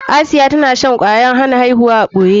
Asiya tana shan kwayar hana aihuwa a ɓoye.